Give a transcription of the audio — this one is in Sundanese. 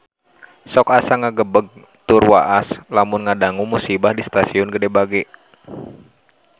Sok asa ngagebeg tur waas lamun ngadangu musibah di Stasiun Gede Bage